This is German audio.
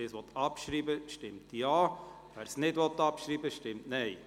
Wer die Ziffer 2 annimmt, stimmt Ja, wer dies ablehnt, stimmt Nein.